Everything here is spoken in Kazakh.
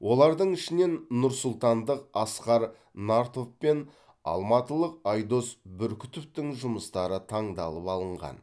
олардың ішінен нұрсұлтандық асқар нартов пен алматылық айдос бүркітовтің жұмыстары таңдалып алынған